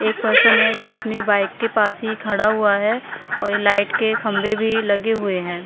एक पर्सन है जो अपनी बाइक के पास ही खड़ा हुआ है और ये लाइट के खंबे भी लगे हुए हैं।